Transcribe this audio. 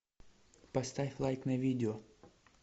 поставь лайк на видео